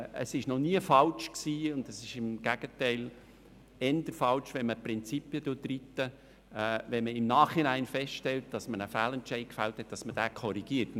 Es war noch nie falsch – im Gegenteil, es ist eher falsch, auf Prinzipien zu beharren – im Nachhinein einen Fehlentscheid zu korrigieren.